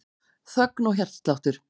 Þögn og hjartsláttur.